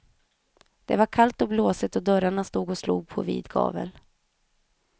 Det var kallt och blåsigt och dörrarna stod och slog på vid gavel.